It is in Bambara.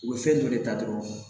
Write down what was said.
U bɛ fɛn dɔ de ta dɔrɔn